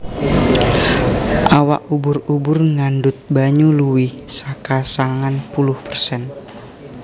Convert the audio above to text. Awak ubur ubur ngandhut banyu luwih saka sangang puluh persen